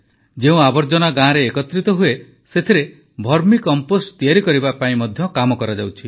ଯେଉଁ ଆବର୍ଜନା ଗାଁରେ ଏକତ୍ରିତ ହୁଏ ସେଥିରେ ଭର୍ମି କମ୍ପୋଷ୍ଟ୍ ତିଆରି କରିବା ପାଇଁ ମଧ୍ୟ କାମ କରାଯାଉଛି